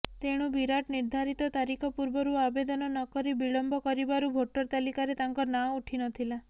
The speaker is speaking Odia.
ତେଣୁ ବିରାଟ ନିର୍ଦ୍ଦାରିତ ତାରିଖ ପୂର୍ବରୁ ଆବେଦନ ନକରି ବିଳମ୍ବ କରିବାରୁ ଭୋଟର ତାଲିକାରେ ତାଙ୍କ ନାଁ ଉଠିନଥିଲା